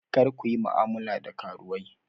Kar ku yi mu'amala da karuwai!